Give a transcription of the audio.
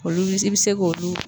Olu i bi se k'olu